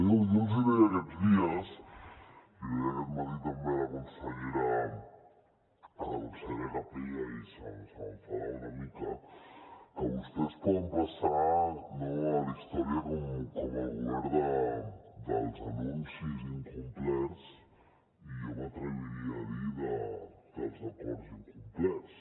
jo els hi deia aquests dies l’hi deia aquest matí també a la consellera capella i se m’enfadava una mica que vostès poden passar a la història com el govern dels anuncis incomplerts i jo m’atreviria a dir dels acords incomplerts